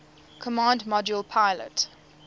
command module pilot